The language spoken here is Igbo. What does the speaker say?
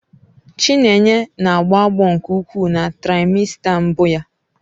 Chinenye na-agbo agbo nke ukwuu na traimesta mbụ ya.